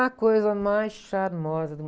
A coisa mais charmosa do